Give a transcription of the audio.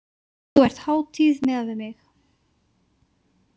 Þú ert hátíð miðað við mig.